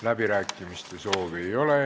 Läbirääkimiste soovi ei ole.